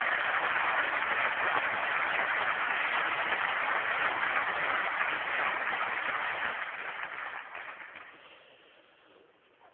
Signor Presidente, onorevoli membri del Parlamento europeo, vi auguro di cuore buon lavoro e un in bocca al lupo